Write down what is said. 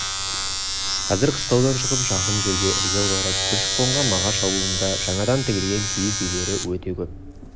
қазір қыстаудан шығып жақын жерге ірге аударып көшіп-қонған мағаш аулында жаңадан тігілген киіз үйлер өте көп